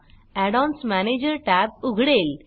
add ONS manager tab उघडेल